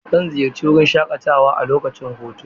Zan ziyarci wurin shaƙatawa a lokacin hutu.